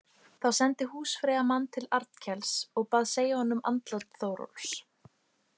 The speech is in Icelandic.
Þá sendi húsfreyja mann til Arnkels og bað segja honum andlát Þórólfs.